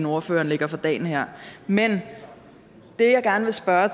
ordføreren lægger for dagen her men det jeg gerne vil spørge